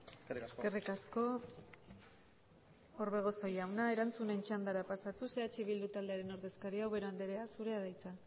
eskerrik asko eskerrik asko orbegozo jauna erantzunen txandara pasatuz eh bildu taldearen ordezkaria ubera andrea zurea da hitza